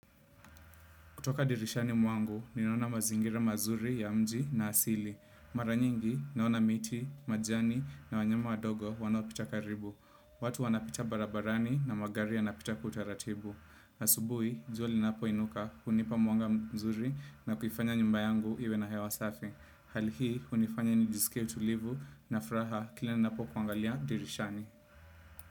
Kutoka dirishani mwangu, ninaona mazingira mazuri ya mji na ya asili. Maranyingi, naona miti, majani na wanyama wadogo wanaopita karibu. Watu wanapita barabarani na magari yanapita kwa utaratibu. Asubui, jua linapo inuka, hunipa mwanga mzuri na kuifanya nyumba yangu iwe na hewa safi. Hali hii, unifanya nijisikie utulivu na furaha kila napo kuangalia dirishani.